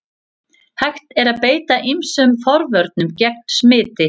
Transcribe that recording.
Hægt er að beita ýmsum forvörnum gegn smiti.